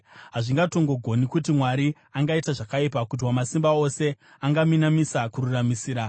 Hazvingatongogoni kuti Mwari angaita zvakaipa, kuti Wamasimba Ose angaminamisa kururamisira.